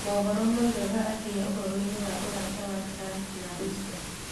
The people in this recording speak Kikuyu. mohoro moigaga atĩa ũhoro-inĩ wa ũrata wa Trump na Russia